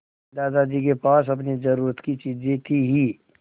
दादाजी के पास अपनी ज़रूरत की चीजें थी हीं